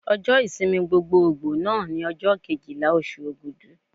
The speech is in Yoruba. Ọjọ́ ìsinmi gbogboògbò náà ni ọjọ́ Kejìlá oṣù Ògudù.